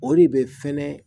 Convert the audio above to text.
O de bɛ fɛnɛ